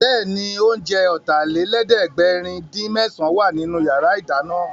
Bẹ́ẹ̀ni, oúnjẹ Ọ̀tàlélẹ̀ẹ́dẹ́gbẹ̀rin-dín-mésàn wà nínú yàrá ìdáná